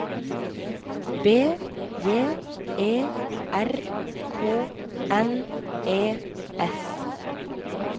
B J E R K N E S